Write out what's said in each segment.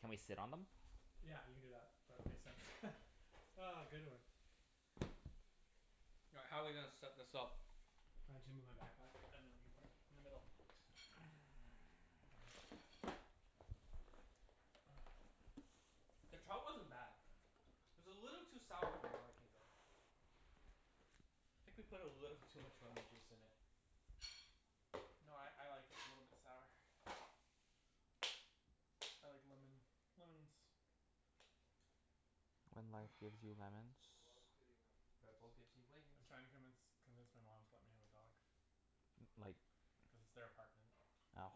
Can we sit on them? Yeah, we can do that. That makes sense. Ah, good one. All right, how are we gonna set this up? Uh, my backpack and then we can put it in the middle. The trout wasn't bad. It was a little too sour for my liking, though. I think we put a little too much lemon juice in it. No, I I like it a little bit sour. I like lemon. Lemon's When That's life gives you gonna be lemons a lot of cleaning Red Bull afterwards. gives you I'm wings. trying to convince convince my mom to let me have a dog. L- like Cuz it's their apartment. Oh.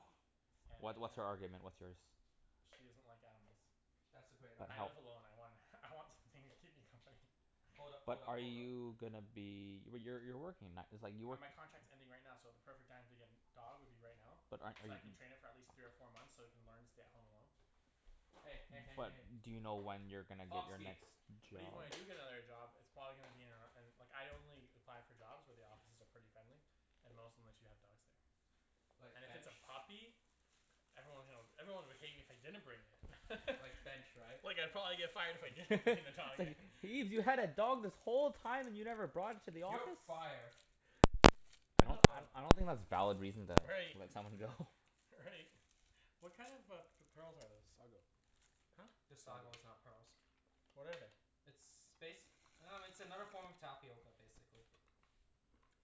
And I What what's can't her argument? What's yours? She doesn't like animals. That's a great But I help argument. live alone. I want I want something to keep me company. Hold up, But hold up, are hold up. you gonna be W- y- you're working, like it's like you Uh, work my contract's ending right now, so the perfect time to get an dog would be right now. But aren't are So I you can train it for at least three or four months so it can learn to stay at home alone. Hey, hey, hey, hey, But hey. do you know when you're gonna get your Pomski. next But even when I job? do get another job it's probably gonna be in a, in like, I only apply for jobs where the offices are pretty friendly. And most of them let you have dogs there. Like And if it's bench? a puppy? Everyone hill, everyone would hate me if I didn't bring it. Like bench, right? Well, yeah, probably if I if I didn't bring the It's dog in. like, "Ibs, you had a dog this whole time and you never brought it to the office?" "You're fired." They I don't have I a I don't think that's valid reason to Right. let someone go. Right. What kind of a p- pearls are those? Sago. Huh? This sago Sago. is not pearls. What are they? It's bas- I dunno, it's another form of tapioca I basically.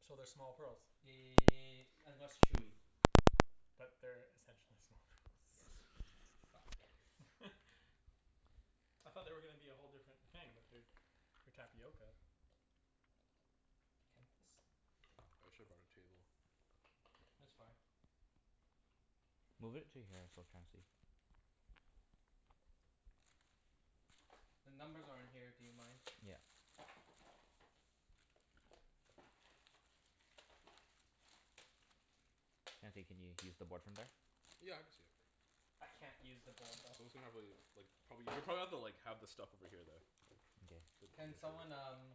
So they're small pearls? Ye- and less chewy. But they're essentially small Yes. pearls? Fuck, that looks I thought they were gonna be a whole different thing, but they're for tapioca. should have bought a table. It's fine. Move it to here so Chancey The numbers are in here. Do you mind? Yeah. Chancey, can you use the board from there? Yeah, I can see it. I can't use the board though. We can probably like probably, you'll probably have to like have the stuff over here though. Okay. Can someone um,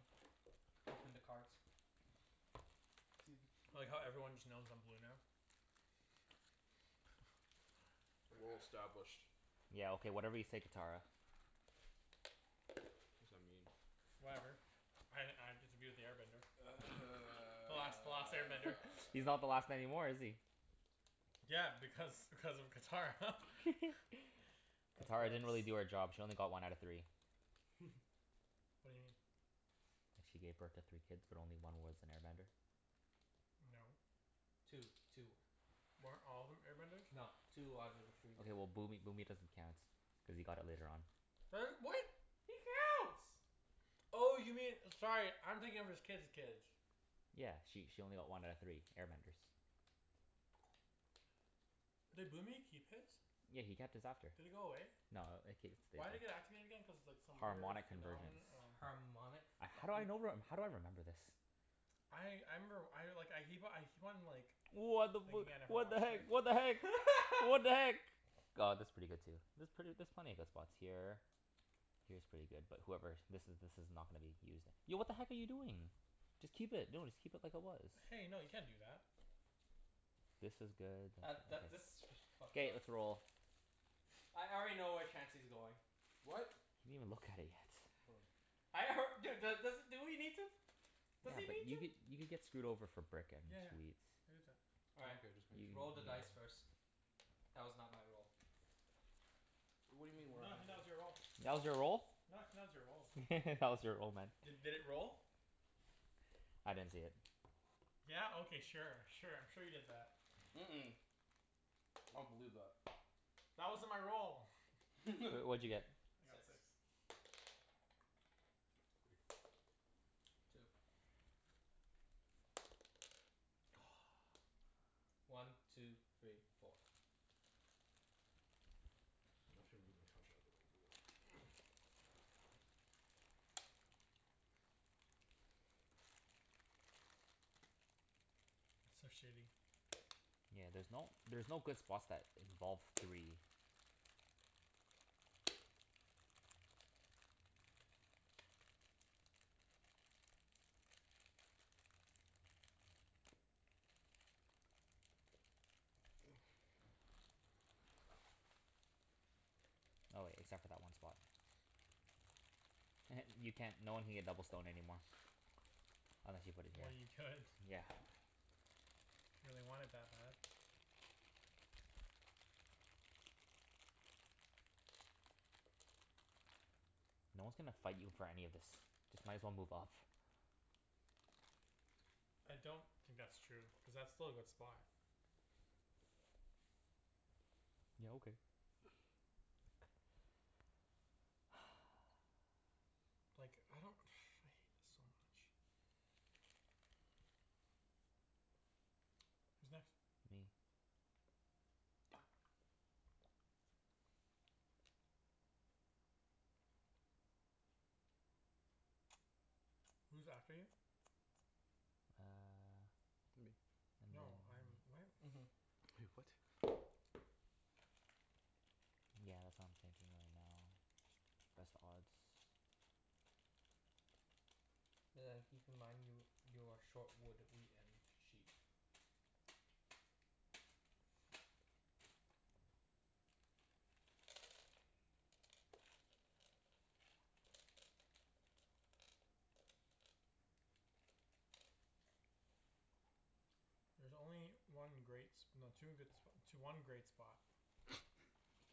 open the cards? See if it I like how everyone just knows I'm blue now. Well Crap. established. Yeah, okay, whatever you say Catara. What does that mean? Whatever. I I get to be with the air bender. The last the last air bender. He's not the last anymore, is he? Yeah, because because of Catara. That's Catara gross. didn't really do her job. She only got one out of three. What do you mean? Like she gave birth to three kids but only one was an air bender. No. Two. Two were. Weren't all of them air benders? No. Two out of the three were. Okay, well Boomy Boomy doesn't count. Cuz he got it later on. Her, what? He counts. Oh, you mean, sorry, I'm thinking of his kid's kids. Yeah. She she only got one out of three. Air benders. Did Boomy keep his? Yeah, he kept his after. Did it go away? No, it again? Cuz like, some weird Harmonic phenomeno- convergence. oh. Harmonic A- how do I fucking know rem- how do I remember this? I I remember, I like, I keep o- I keep on like What the fu- thinking I never what the watched heck? it. What the heck? What the heck? G- aw, this is pretty good too. There's pret- there's plenty of good spots here. Here's pretty good. But whoever, this is this is not gonna be used. Yo, what the heck are you doing? Just keep it. No, just keep it like it was. Hey, no, you can't do that. This is good, that's That that okay. this is s- fucked K, up. let's roll. I already know where Chancey's going. What? He didn't even look at it yet. Hold on. I alr- dude. Dude do- does do we need to? Yeah, Does he but need you could to? you could get screwed over for brick and Yeah. wheat. All Oh right. okay, just make You you sure. Roll the dice first. That was not my role. What do you mean your roll. That No. was your roll? your roll. That was your roll, man. D- did it roll? I didn't see it. Yeah? Okay, sure. Sure, I'm sure you did that. Mm- mm. I don't believe that. That wasn't my roll! W- what'd you get? I got six. Two. One two three four. I'm actually gonna move my couch outta the way for this. It's so shitty. Yeah, there's no there's no good spots that involve three. Oh wait, except for that one spot. You can't, no one can get double stone anymore. Unless you put it Well, here. you could. Yeah. If you really want it that bad. No one's gonna fight you for any of this. Just might as well move up. I don't think that's true. Cuz that's still a good spot. Yeah, okay. Like, I don't I hate this so much. Who's next? Me. Who's after you? Uh Me. and then No, I'm, what? Mhm. Wait, what? Yeah, that's what I'm thinking right now. Press the odds. But then keep in mind you you are short wood, wheat, and sheep. There's only one great s- no, two good spo- tw- one great spot.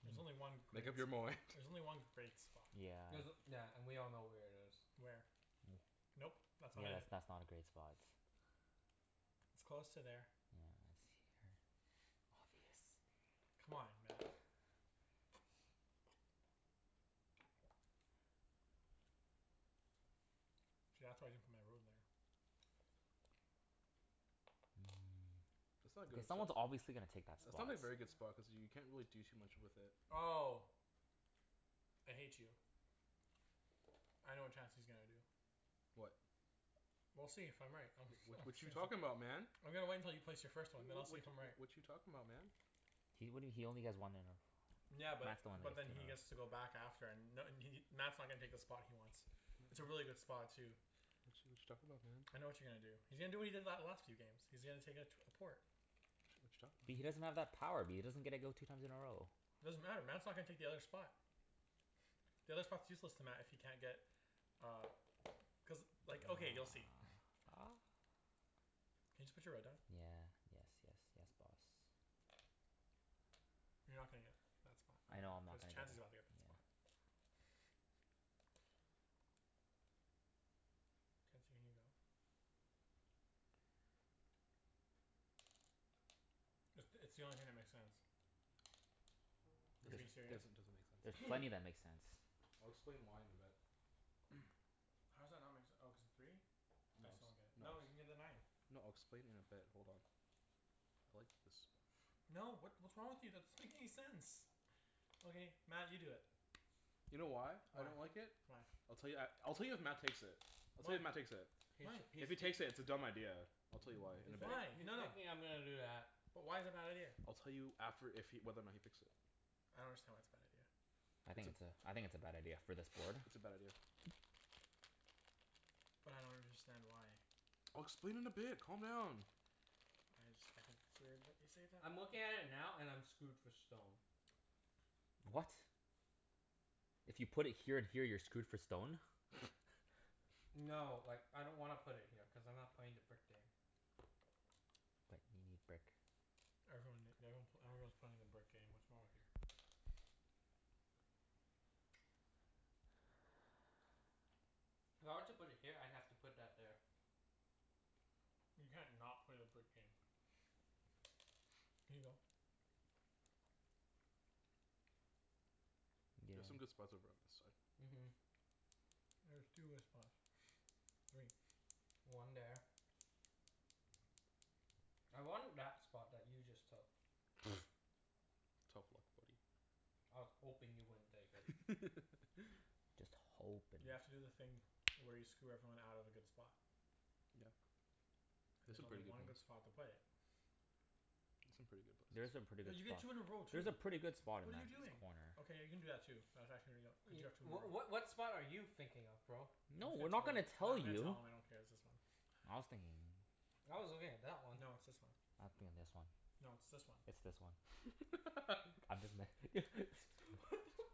There's only one great Make up your s- mind. There's only one great spot. Yeah. There's, yeah, and we all know where it is. Where? Nope. That's not Yeah that's it. that's not a great spot. It's close to there. Yeah, it's here. Obvious. Come on, Mat. See, that's why I didn't put my ruin there. That's not Mm, a k, good as sp- someone's obviously gonna take that That's spot. not a very good spot cuz you can't really do too much with it. Oh! I hate you. I know what Chancey's gonna do. What? We'll see if I'm right. I'm s- Wh- I'm what you s- talking about, man? I'm gonna wait until you place your W- first one, w- then I'll what see if I'm w- right. what you talking about, man? He, what do you, he only has one in a Yeah, That's but the one but then he he has gets to move. to go back after and n- and he Mat's not gonna take the spot he wants. It's a really good spot, too. What you what you talking about, man? I know what you're gonna do. He's gonna do what he did that last few games. He's gonna take a tw- a port. What But he you talking doesn't about? have that power. B- he doesn't get to go two times in a row. Doesn't matter. Mat's not gonna take the other spot. The other spot's useless to Mat if he can't get uh cuz, like, okay, you'll see. Can you just put your red down? Yeah. Yes, yes, yes boss. You're not gonna get that spot. I know I- I'm not cuz gonna get it. Chancey's gotta Yeah. get that spot. Chancey, can you go? It's it's the only thing that makes sense. Is he being There's Doesn't there's serious? doesn't doesn't make sense. there's plenty that make sense. I'll explain why in a bit. How does that not make se- oh, cuz of three? I No it's, still don't get it. no No, you can get it's the nine. No, I'll explain in a bit. Hold on. I like this spot. No, what what's wrong with you? That's make any sense. Okay. Mat, you do it. You know why I don't Why? like it? Why? I'll tell you at, I'll tell you if Mat takes it. I'll tell Why? you if Mat takes it. K, so Why? he's If he he takes it, it's a dumb idea. I'll tell you why in he's a bit. thi- Why? he's No, no. thinking I'm gonna do that. But why is it a bad idea? I'll tell you after if he, whether or not he picks it. I don't understand why it's a bad idea. I It's think a it's a, I think it's a bad idea, for this board. It's a bad idea. But I don't understand why. I'll explain in a bit. Calm down. I just, I think it's weird that you say that. I'm looking at it now, and I'm screwed for stone. What? If you put it here and here you're screwed for stone? No, like, I don't wanna put it here cuz I'm not playing the brick game. But you need brick. Everyone ne- everyone pl- everyone's playing the brick game, what's wrong with you? If I were to put it here, I'd have to put that there. You can't not play the brick game. Can you go? There's some Yeah. good spots over on this side. Mhm. There's two good spots. Three. One there. I wanted that spot that you just took. Tough luck, buddy. I was hoping you wouldn't take it. Just You have hopin'. to do the thing where you screw everyone out of a good spot. Yeah. There's There's some only pretty good one good ones. spot to play it. There's There's some some pretty good places. pretty good Cuz you get spots. two, you roll There's a two. pretty good spot in What are you Mat's doing? corner. Okay, you can do that too. That's actually Cuz you Ye- have two more w- of what what spot are you thinking of, bro? I'm No, not we're not gonna gonna tell you I dunno, tell I'm gonna you. tell him. I don't care. It's this one. I was thinking I was looking at that one. No, it's this one. I was thinking this one. No, it's this one. It's this one. I'm just What me- the f-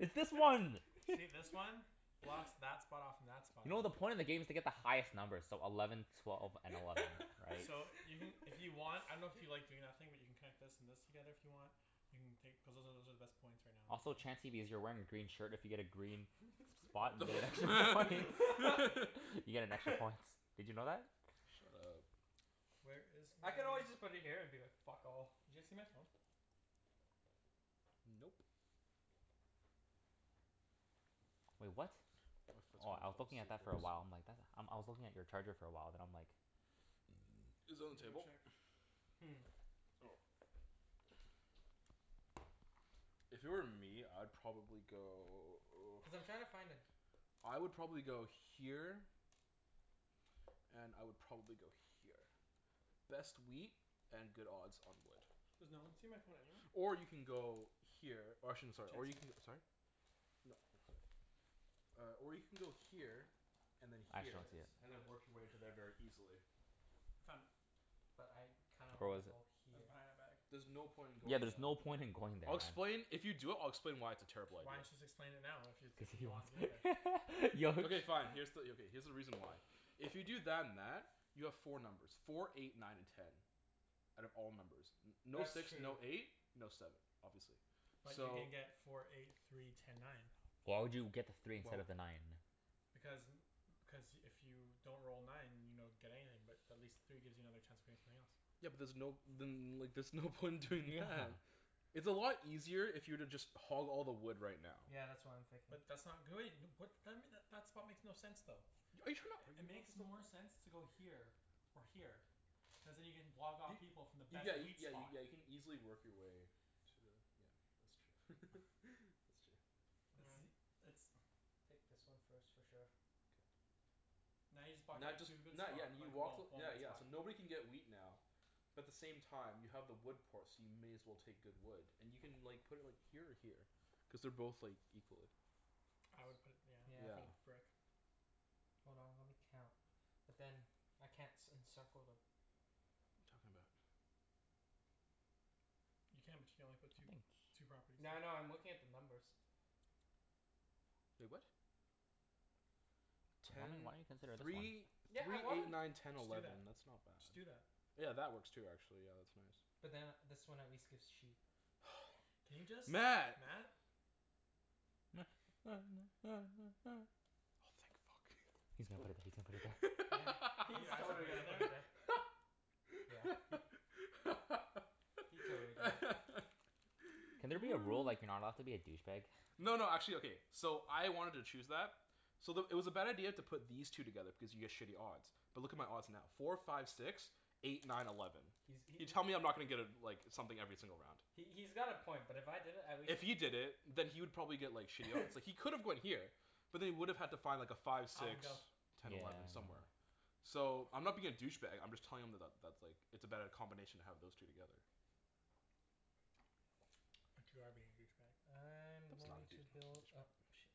It's this one! See this one? Blocks that spot off from that spot. You know the point of the game is to get the highest numbers, so eleven twelve and eleven, right? So, you can if you want, I dunno if you like doing that thing where you can connect this and this together if you want? You can take cuz those are, those are the best points right now in the Also, game. Chancey, because you're wearing a green shirt, if you get a green spot, The you get extra points. f- You get an extra points. Did you know that? Shut up. Where is my I could always just put it here, and be like, "Fuck all." Did you see my phone? Nope. Wait, what? My foot's Oh, gonna I was fall looking at asleep that for a very while. I'm soon. like, that, um I was looking at your charger for a while, then I'm like Is that it I'm on gonna the go table? check. Hmm. Oh. If it were me, I'd probably go Cuz I'm trying to find a I would probably go here and I would probably go here. Best wheat and good odds on wood. Does no one see my phone anywhere? Or you can go here Or I shouldn't, sorry, or you Chancey? can, sorry? No, I'm sorry. Uh, or you can go here and then I actually There it don't here, see it. is. I and found then it. work your way to there very easily. I found it. But I kinda Where wanna was it? go It was here. behind that bag. There's no point in Yeah, going there's no there. point in going there, I'll Mat. explain, if you do it I'll explain why it's a terrible idea. Why don't you just explain it now? If you, Cuz if he he wants to go there? wants yo Okay fine. Here's the, yeah, okay, here's the reason why. If you do that and that you have four numbers. Four eight nine and ten. Out of all numbers. No That's six, true. no eight? No seven, obviously. But you So can get four eight three ten nine. Why would you get the Why three instead w- of the nine? Because n- cuz if you don't roll nine, you don't get anything, but at least three gives you another chance of getting something else. Yeah but there's no, then there's no point in doing Yeah. that. It's a lot easier if you were to just hog all the wood right now. Yeah, that's what I'm thinking. But that's not great. What then m- that that spot makes no sense though. Are you trying to It argue with me makes or more something? sense to go here. Or here. Cuz then you can block off Y- people from the y- yeah best you, wheat spot. yeah you can easily work your way. To a yeah, that's true. That's true. It's Yeah. the, it's Take this one first, for sure. K. Now you just blocked Now that just too good not, yeah spot. and you walk th- yeah yeah, spot. so nobody can get wheat now. But the same time you have the wood port, so you may as well take good wood. And you can like put it like here or here. Cuz they're both like equally I would put it, Yeah, I yeah, for Yeah. the think. brick. Hold on, let me count. But then, I can't c- encircle the What are you talking about? You can, but you can only put two Nothing. two properties here. Yeah, I know. I'm looking at the numbers. Wait, what? Why don- Ten why don't you consider this one? three Yeah, I three wanna eight nine ten Just do that. eleven. That's not Just do bad. that. Yeah, that works too, actually. Yeah, that's nice. But then this one at least gives sheep. Can you just? Mat. Mat! Oh thank fuck. He's gonna put it th- he's gonna put it there. Yeah, Are you he's actually totally putting it gonna put it there. there? Yeah, he He totally did it. Can there be a rule like, you're not allowed to be a douchebag? No no, actually, okay So I wanted to choose that so the, it was a bad idea to put these two together because you get shitty odds. But look at my odds now. Four five six. Eight nine eleven. He's he he You tell me I'm not gonna get a like something every single round. He he's got a point, but if I did it at least If he did it, then he would probably get like shitty odds. It's like he could have gone here. But then he would have had to find like a five, Alvin, six. go. Ten, Yeah. eleven somewhere. So, I'm not being a douchebag I'm just telling him that that that's like it's a better combination to have those two together. But you are being a douchebag. I'm That's not a going dou- to build douchebag up move. sh-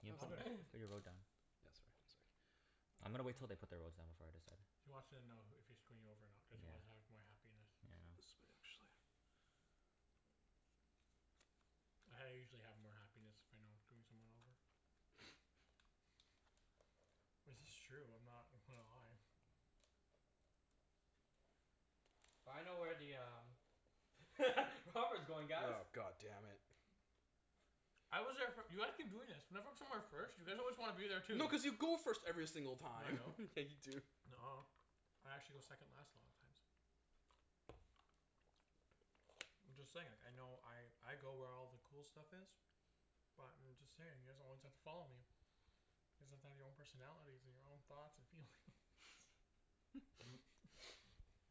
You can Alvin. put put your road down. Yeah, sorry, sorry. I'm gonna wait til they put their roads down before I decide. He wants to know h- if he's screwing you over or not cuz he wants Yeah. half my happiness. Yeah. I usually have more happiness if I know I'm screwing someone over. Well, it's just true. I'm not gonna lie. I know where the um Robber's going, guys. Oh, god damn it. I was there fir- When I go somewhere first you always wanna be there too. No, cuz you go first every single No, I time. don't. Yeah, you do. Nuh- ah. I actually go second last a lot of times. I'm just saying, like I know I I go where all the cool stuff is but I'm just saying, you guys are the ones that follow me. your own personalities your own thoughts and feelings.